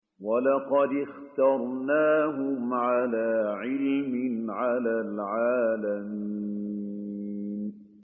وَلَقَدِ اخْتَرْنَاهُمْ عَلَىٰ عِلْمٍ عَلَى الْعَالَمِينَ